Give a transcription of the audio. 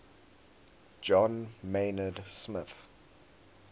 john maynard smith